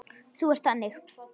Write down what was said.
Þú ert þannig.